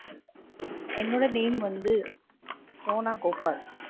என்னோட name வந்து சோனா கோபால்.